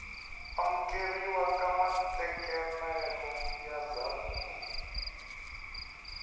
amukeriwa ka matekanelo ya ndzhavuko